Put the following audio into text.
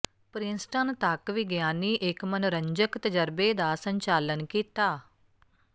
Princeton ਤੱਕ ਵਿਗਿਆਨੀ ਇੱਕ ਮਨੋਰੰਜਕ ਤਜਰਬੇ ਦਾ ਸੰਚਾਲਨ ਕੀਤਾ